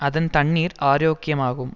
அதன் தண்ணீர் ஆரோக்கியமாகும்